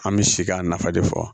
An bɛ si k'a nafa de fɔ